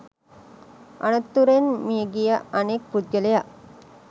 අනතුරෙන් මියගිය අනෙක් පුද්ගලයා